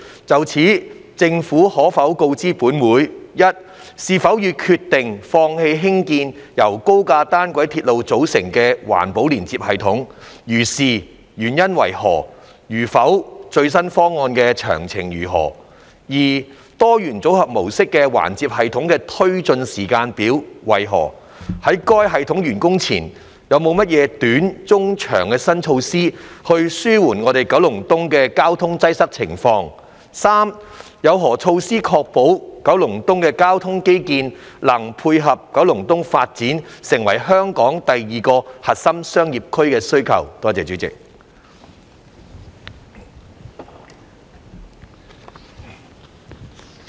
就此，政府可否告知本會：一是否已決定放棄興建由高架單軌鐵路組成的環接系統；如是，原因為何；如否，最新方案的詳情為何；二多元組合模式環接系統的推展時間表為何；在該系統完工前，有何短、中期的新措施紓緩九龍東的交通擠塞情況；及三有何措施確保九龍東的交通基建能配合九龍東發展成香港第二個核心商業區的需要？